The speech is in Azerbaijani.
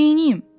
Neynim?